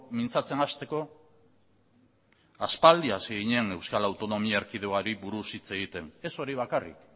mintzatzen hasteko aspaldi hasi ginen euskal autonomi erkidegoari buruz hitz egiten ez hori bakarrik